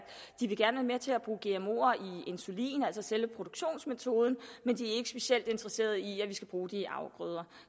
de gerne med til at bruge gmoer i insulin altså selve produktionsmetoden men de er ikke specielt interesserede i at vi skal bruge det i afgrøder